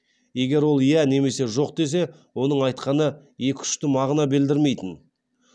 егер ол иә немесе жоқ десе оның айтқаны екі ұшты мағына белдірмейтін